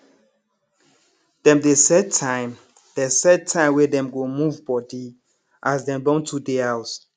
dem dey set time dey set time wey dem go move body as dem don too dey house